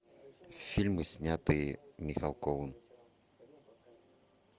фильмы снятые михалковым